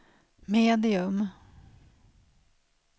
medium